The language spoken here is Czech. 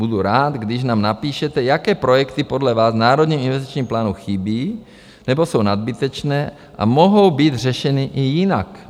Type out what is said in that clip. Budu rád, když nám napíšete, jaké projekty podle vás v Národním investičním plánu chybí nebo jsou nadbytečné a mohou být řešeny i jinak.